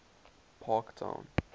parktown